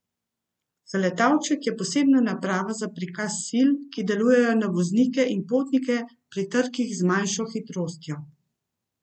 Zaletavček je posebna naprava za prikaz sil, ki delujejo na voznike in potnike pri trkih z manjšo hitrostjo.